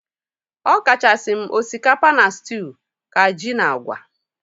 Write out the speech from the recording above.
Ọkachasị m osikapa na stew ka ji na agwa